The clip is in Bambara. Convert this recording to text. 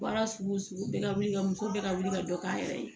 Baara sugu o sugu bɛɛ ka wuli ka muso bɛɛ ka wuli ka dɔ k'a yɛrɛ ye